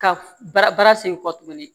Ka bara bara sen kɔ tuguni